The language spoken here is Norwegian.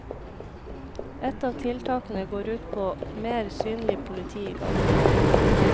Ett av tiltakene går ut på mer synlig politi i gatene.